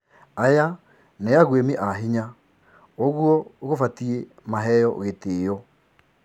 "Aya ni aguimi a hinya, ugwo gubatie maheo gitio."